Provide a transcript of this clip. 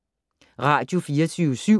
Radio24syv